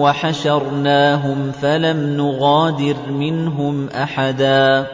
وَحَشَرْنَاهُمْ فَلَمْ نُغَادِرْ مِنْهُمْ أَحَدًا